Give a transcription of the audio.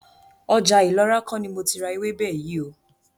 Ọjà Ìlọra kó ni mo ti ra ewébè yìí óò.